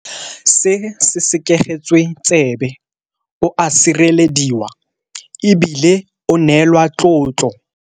Se sekegetswetsebe, o a sirelediwa e bile o neelwa tlotlo.